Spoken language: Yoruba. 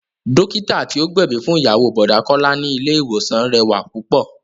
Dókítà tí ó gbẹ̀bí fún ìyàwó Bọ̀dá Kọ́lá ni ilé ìwòsàn rẹwà púpọ̀